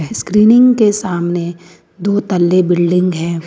Screening के सामने दो तल्ले बिल्डिंग है।